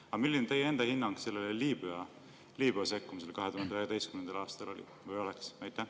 Aga milline teie enda hinnang sellele sekkumisele Liibüas 2011. aastal oleks?